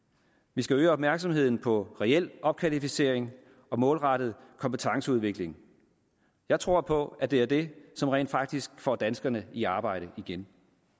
vi skal øge opmærksomheden på reel opkvalificering og målrettet kompetenceudvikling jeg tror på at det er det som rent faktisk får danskerne i arbejde igen